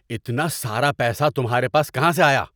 اتنا سارا پیسہ تمہارے پاس کہاں سے آیا؟